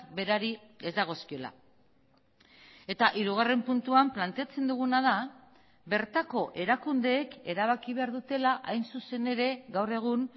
berari ez dagozkiola eta hirugarren puntuan planteatzen duguna da bertako erakundeek erabaki behar dutela hain zuzen ere gaur egun